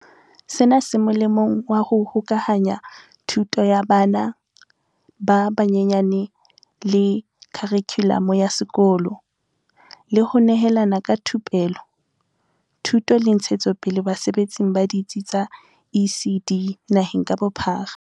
Sena se molemong wa ho hokahanya thuto ya bana ba banyenyane le kha rikhulamo ya sekolo, le ho nehelana ka thupelo, thuto le ntshetsopele basebetsing ba ditsi tsa ECD naheng ka bophara.